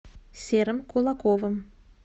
серым кулаковым